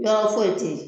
Yɔrɔ foyi tɛ ye